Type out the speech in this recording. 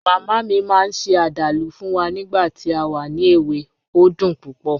Mama mi maa n se adalu fun wa nigba ti a wa ni ewe, o dun pupo